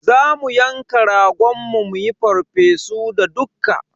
Za mu yanka ragon mu muyi farfesu da dukka.